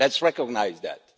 Let's recognise that.